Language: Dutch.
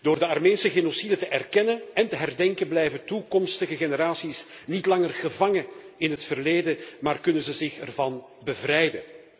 Door de Armeense genocide te erkennen en te herdenken blijven toekomstige generaties niet langer gevangen in het verleden maar kunnen ze zich ervan bevrijden.